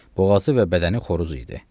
Boğazı və bədəni xoruz idi.